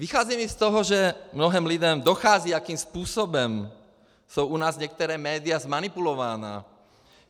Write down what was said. Vycházím i z toho, že mnohým lidem dochází, jakým způsobem jsou u nás některá média zmanipulována.